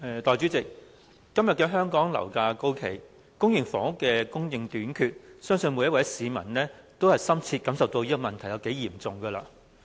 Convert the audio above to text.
代理主席，今天香港樓價高企，公營房屋供應短缺，相信每一位市民也深切體會到這問題有多嚴重。